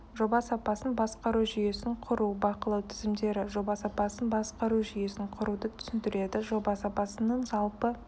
жоба сапасын басқару жүйесін құру бақылау тізімдері жоба сапасын басқару жүйесін құруды түсіндіреді жоба сапасының жалпы